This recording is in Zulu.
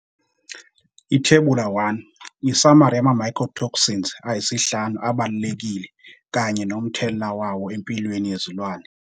Ithebula 1- Isamari yama-mycotoxins ayisihlanu abalulekile kanye nomthelela wawo empilweni yezilwane.